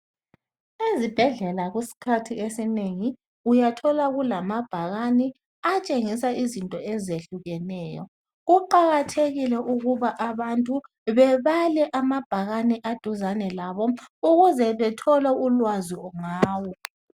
Ezibhedlela kusikhathi esinengi uyathola kulamabhakane atshengisa izinto ezehlukeneyo. Kuqakathekile ukuba abantu bebale amabhakani aduzane labo ukuze bethole ulwazi ngawo.